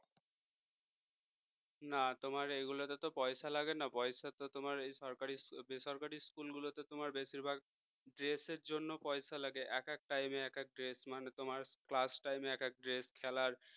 না তোমার এইগুলোতে তো পয়সা লাগে না পয়সা তো তোমার এই সরকারি বেসরকারি school গুলোতে তোমার বেশিরভাগ dress এর জন্য পয়সা লাগে এক এক time এ এক এক dress মানে তোমার class time এ এক এক dress খেলার